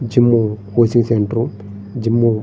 Gym coaching centre gym .